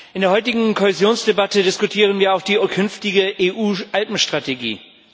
In der heutigen Kohäsionsdebatte diskutieren wir auch die künftige EU Alpenstrategie.